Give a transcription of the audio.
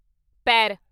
ਪੈਰ